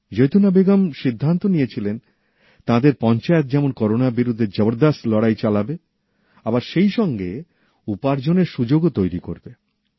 জৈতুনা বেগম সিদ্ধান্ত নিয়েছিলেন তাঁদের পঞ্চায়েত যেমন করোনার বিরুদ্ধে জবরদস্ত লড়াই চালাবে আবার সেই সঙ্গে উপার্জনের সুযোগও তৈরি করবে